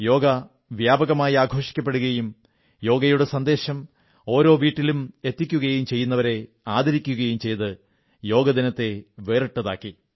യോഗ വ്യാപകമായി ആഘോഷിക്കുകയും യോഗയുടെ സന്ദേശം ഓരോ വീട്ടിലും എത്തിക്കുകയും ചെയ്യുന്നവരെ ആദരിക്കുകയും ചെയ്തത് യോഗ ദിനത്തെ വേറിട്ടതാക്കി